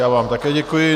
Já vám také děkuji.